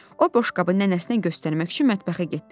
O boşqabı nənəsinə göstərmək üçün mətbəxə getdi.